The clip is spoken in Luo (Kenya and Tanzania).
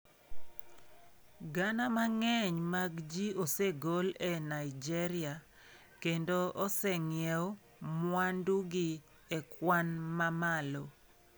Gana mang'eny mag ji osegol e Nigeria, kendo oseng'iew mwandugi e kwan mamalo.